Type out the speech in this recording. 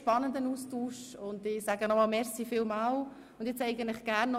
Der Austausch war sehr spannend und ich bedanke mich sehr.